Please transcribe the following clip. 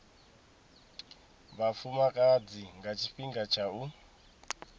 vhafumakadzi nga tshifhinga tsha u